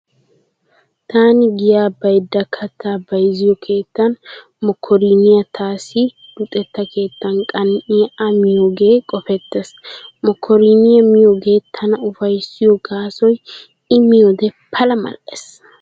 Taani giyaa baydda kattaa bayzziyoo keettan mokkoriniyaa taassi luxetta keettan qan'iyaa a miyoogee qopettees. Mokkoriniyaa miyoogee tana ufayssiyo gaasoy I miyode Pala mal'ees.